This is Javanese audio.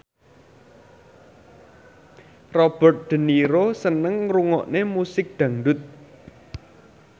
Robert de Niro seneng ngrungokne musik dangdut